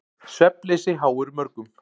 Svefnleysi háir mörgum.